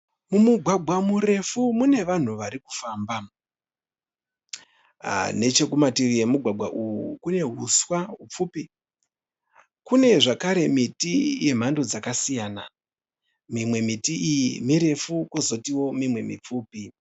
Mumugwagwa murefu mune vanhu varikufamba, nechekumativi emugwagwa uwu hune huswa hupfupi kune zvekare miti yemhando dzakasiyana mimwe miti iyi mirefu kozotiwo mimwe mipfupi.